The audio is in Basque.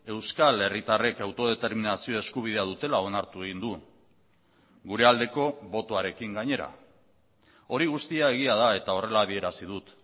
euskal herritarrek autodeterminazio eskubidea dutela onartu egin du gure aldeko botoarekin gainera hori guztia egia da eta horrela adierazi dut